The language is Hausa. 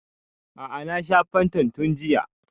A'a na sha fantan tun jiya